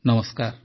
ନମସ୍କାର